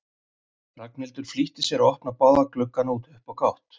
Ragnhildur flýtti sér að opna báða gluggana upp á gátt.